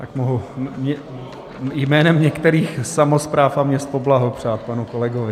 Tak mohu jménem některých samospráv a měst poblahopřát panu kolegovi.